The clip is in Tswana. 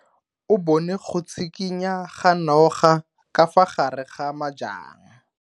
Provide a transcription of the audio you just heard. O bone go tshikinya ga noga ka fa gare ga majang.